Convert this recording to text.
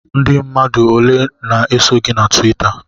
Ndị mmadụ ole na-eso gị na Tuwita?